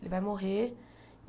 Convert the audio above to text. Ele vai morrer.